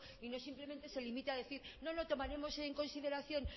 y no simplemente se limite a decir no lo tomaremos en consideración